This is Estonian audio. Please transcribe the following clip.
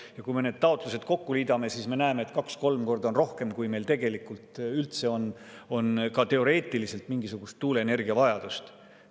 Ja kui me need taotlused kokku liidame, siis me näeme, et neid on kaks-kolm korda rohkem, kui meil tegelikult üldse, ka teoreetiliselt on mingisugust tuuleenergia vajadust.